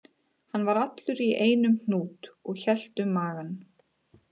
Hann var allur í einum hnút og hélt um magann